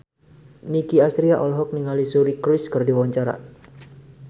Nicky Astria olohok ningali Suri Cruise keur diwawancara